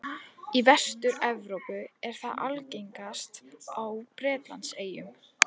Í Vestur-Evrópu er það algengast á Bretlandseyjum.